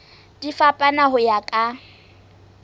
di fapana ho ya ka